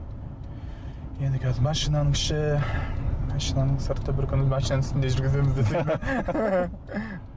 енді қазір машинаның іші машинаның сырты бір күні машинаның үстінде